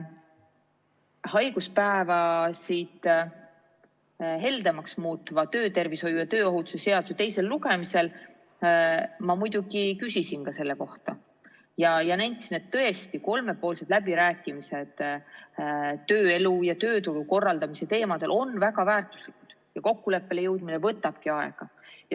Haiguspäevade heldemaks muutva töötervishoiu ja tööohutuse seaduse teisel lugemisel ma muidugi küsisin ka selle kohta ja nentisin, et tõesti, kolmepoolsed läbirääkimised tööelu ja tööturu korraldamise teemadel on väga väärtuslikud ja kokkuleppele jõudmine võtabki aega.